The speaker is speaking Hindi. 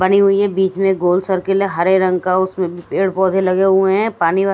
बनी हुई है बिच में गोल सर्किल है हरे रंग का उसमे पेड़ पोधे लगे हुए है पाणी वान--